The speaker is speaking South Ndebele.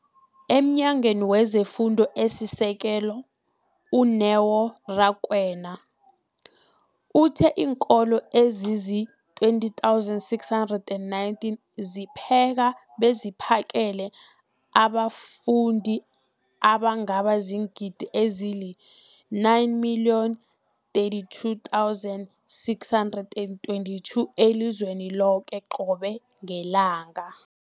EmNyangweni wezeFundo esiSekelo, u-Neo Rakwena, uthe iinkolo ezizi-20 619 zipheka beziphakele abafundi abangaba ziingidi ezili-9 032 622 elizweni loke qobe ngelanga.